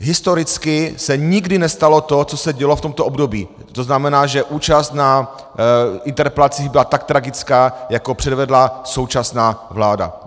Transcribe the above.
Historicky se nikdy nestalo to, co se dělo v tomto období, to znamená, že účast na interpelacích byla tak tragická, jako předvedla současná vláda.